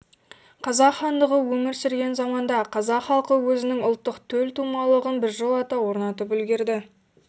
қазақ хандығы өмір сүрген заманда қазақ халқы өзінің ұлттық төлтумалығын біржолата орнатып үлгерді